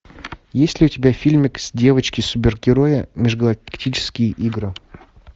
есть ли у тебя фильмы девочки супергерои межгалактические игры